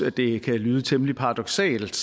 at det kan lyde temmelig paradoksalt